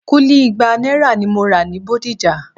Kúlí igba náírà ni mo máa rà ní Bódìjà